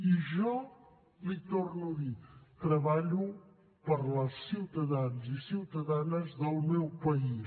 i jo l’hi torno a dir treballo per als ciutadans i ciutadanes del meu país